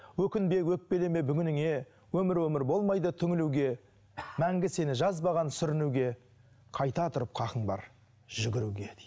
өкінбе өкпелеме бүгініңе өмір өмір болмайды түңілуге мәңгі сені жазбаған сүрінуге қайта тұрып хақың бар жүгіруге дейді